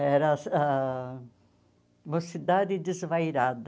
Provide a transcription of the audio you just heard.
Era a Mocidade Desvairada.